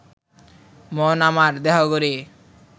মন আমার দেহ ঘড়ি